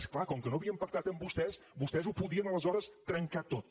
és clar com que no havíem pactat amb vostès vostès ho podien aleshores trencar tot